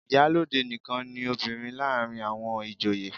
Ìyálóde nìkan ni obìnrin láàárín àwọn ìjòyè.